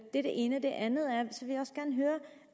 er det ene det andet er